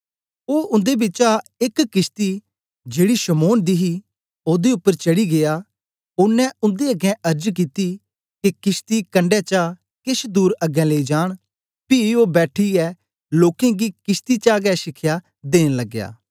ओ उन्दे बिचा एक किशती जेड़ी शमौन दी ही ओदे उपर चढ़ीयै गीया ओनें उन्दे अगें अर्ज कित्ती के किशती कंडै चा केछ दूर अगें लेई जान पी ओ बैठीयै लोकें गी किशती चा गै शिखया देन लगया